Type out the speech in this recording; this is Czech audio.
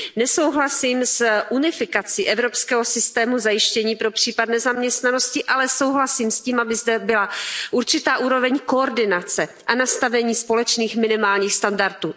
Nesouhlasím s unifikací evropského systému zajištění pro případ nezaměstnanosti, ale souhlasím s tím, aby zde byla určitá úroveň koordinace a nastavení společných minimálních standardů.